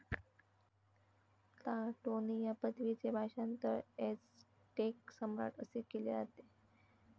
Tlatoani ह्या पदवीचे भाषांतर 'एझटेक सम्राट' असे केले जाते.